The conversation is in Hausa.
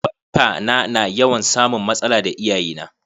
Baffa na na yawan samun matsala da iyaye na.